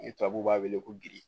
Ni tababu b'a wele ko